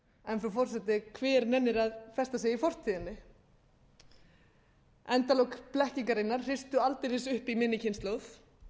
en frú forseti hver nennir að festa sig í fortíðinni endalok blekkingarinnar hristu aldeilis upp í minni kynslóð